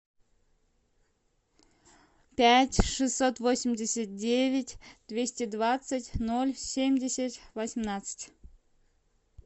пять шестьсот восемьдесят девять двести двадцать ноль семьдесят восемнадцать